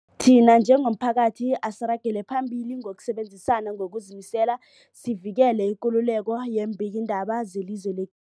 Thina njengomphakathi, asiragele phambili ngokusebenzisana ngokuzimisela sivikele ikululeko yeembikiindaba zelizwe le